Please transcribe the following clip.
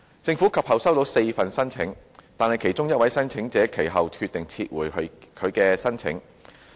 政府及後收到4份申請，但其中一位申請者及後決定撤回其有關申請。